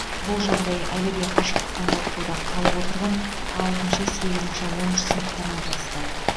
бұл жағдай әлі де қашықтан оқытуда қалып отырған алтыншы сегізінші оныншы сыныптарға қатысты